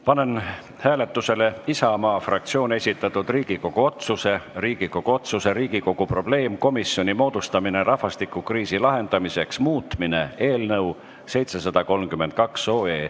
Panen hääletusele Isamaa fraktsiooni esitatud Riigikogu otsuse "Riigikogu otsuse "Riigikogu probleemkomisjoni moodustamine rahvastikukriisi lahendamiseks" muutmine" eelnõu 732.